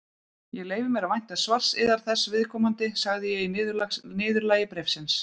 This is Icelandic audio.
Ég leyfi mér að vænta svars yðar þessu viðkomandi, sagði ég í niðurlagi bréfsins.